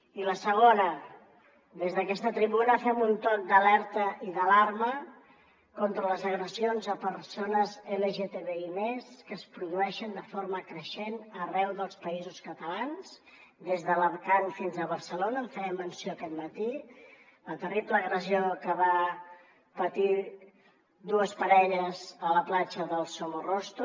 i la segona des d’aquesta tribuna fem un toc d’alerta i d’alarma contra les agressions a persones lgtbi+ que es produeixen de forma creixent arreu dels països catalans des d’alacant fins a barcelona en feia menció aquest matí la terrible agressió que van patir dues parelles a la platja del somorrostro